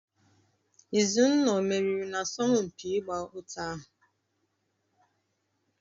Izunna o meriri n'asọmpi ịgba ụta ahụ?